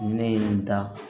Ne ye nin da